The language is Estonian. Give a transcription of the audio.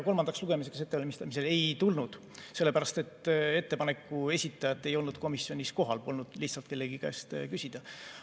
Kolmandaks lugemiseks ettevalmistamisel ei tulnud, sellepärast et ettepaneku esitajat ei olnud komisjonis kohal, polnud lihtsalt kellegi käest küsida.